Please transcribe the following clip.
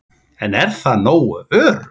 En er það nógu öruggt?